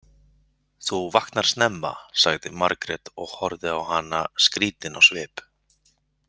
Þú vaknar snemma, sagði Margrét og horfði á hana skrítin á svip.